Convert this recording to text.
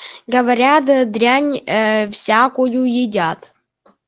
говорят дрянь э всякую едят